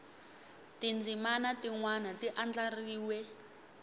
tindzimana tin wana ti andlariwe